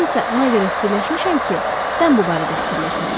Mən isə ona görə fikirləşmişəm ki, sən bu barədə fikirləşmisən.